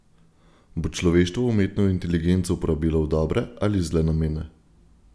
Bo človeštvo umetno inteligenco uporabilo v dobre ali zle namene?